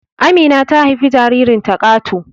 Amina ta haifi jaririnta Kato